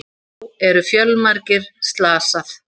Þá eru fjölmargir slasað